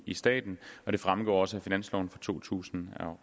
i staten og det fremgår også af finansloven for to tusind